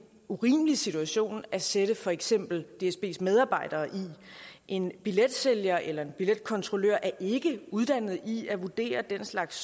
urimelig situation at sætte for eksempel dsbs medarbejdere i en billetsælger eller en billetkontrollør er ikke uddannet i at vurdere den slags